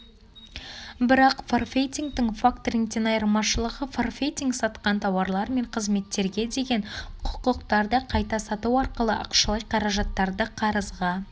бірақ форфейтингтің факторингтен айырмашылығы форфейтинг сатқан тауарлар мен қызметтерге деген құқықтарды қайта сату арқылы ақшалай қаражаттарды қарызға